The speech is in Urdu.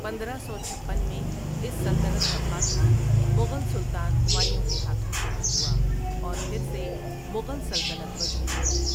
پندرہ سو چھپن میں اس سلطنت کا خاتمہ مغل سلطان ہمایوں کے ہاتھوں سے ہی ہوا اور پھر سے مغل سلطنت وجود میں آئی۔